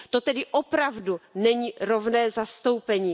To tedy opravdu není rovné zastoupení.